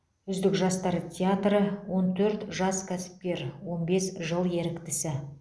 үздік жастар театры он төрт жас кәсіпкер он бес жыл еріктісі